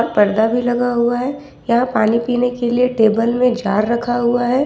पर्दा भी लगा हुआ है यह पानी पीने के लिए टेबल में जार रखा हुआ है।